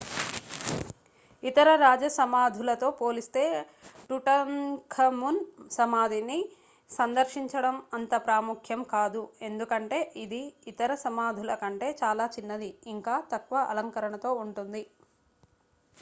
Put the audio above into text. ఇతర రాజ సమాధులతో పోలిస్తే టుటన్ఖమున్ సమాధిని సందర్శించడం అంత ప్రాముఖ్యం కాదు ఎందుకంటే ఇది ఇతర సమాధులకంటే చాలా చిన్నది ఇంకా తక్కువ అలంకరణతో ఉంటుంది